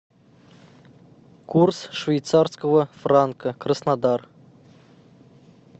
курс швейцарского франка краснодар